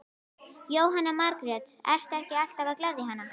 Jóhanna Margrét: Ertu ekki alltaf að gleðja hana?